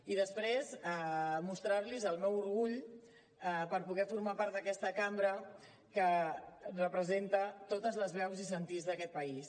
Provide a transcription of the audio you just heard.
i després mostrar los el meu orgull per poder formar part d’aquesta cambra que representa totes les veus i sentirs d’aquest país